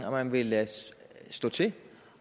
om man vil lade stå til